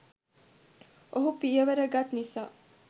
ඔහු පියවර ගත් නිසා